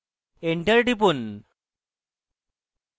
enter টিপুন